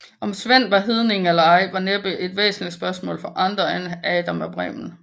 Om Sven var hedning eller ej var næppe et væsentlig spørgsmål for andre end Adam af Bremen